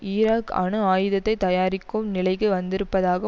Iraq அணு ஆயுதத்தை தயாரிக்கும் நிலைக்கு வந்திருப்பதாக